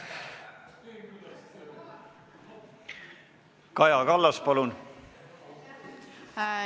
Kaja Kallas, palun!